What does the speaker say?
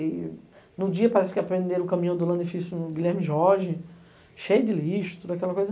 E num dia parece que aprenderam o caminho do Lanifício no Guilherme Jorge, cheio de lixo, toda aquela coisa.